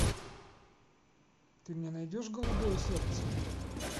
ты мне найдешь голубое сердце